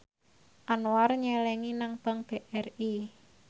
Anwar nyelengi nang bank BRI